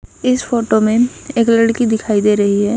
इस फोटो में एक लड़की दिखाई दे रही है।